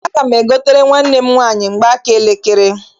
Aga m egotere nwanne m nwaanyị mgbaaka elekere.